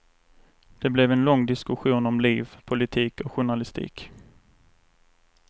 Det blev en lång diskussion om liv, politik och journalistik.